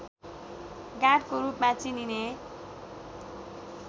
गाडको रूपमा चिनिने